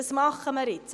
Das machen wir jetzt.